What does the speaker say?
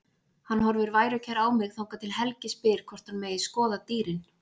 Hann horfir værukær á mig þangað til Helgi spyr hvort hann megi skoða dýrin.